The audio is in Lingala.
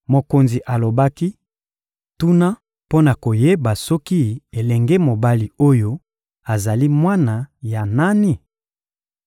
Mokonzi alobaki: — Tuna mpo na koyeba soki elenge mobali oyo azali mwana ya nani?